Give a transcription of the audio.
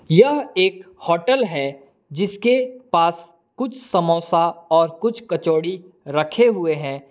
यह एक होटल है जिसके पास कुछ समोसा और कुछ कचौड़ी रखे हुए हैं।